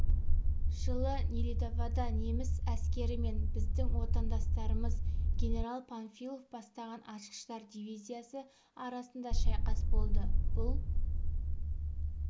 жылы нелидовода неміс әскері мен біздің отандастарымыз генерал панфилов бастаған атқыштар дивизиясы арасында шайқас болды бұл